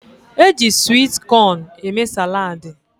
Eji swit cón eme salaadi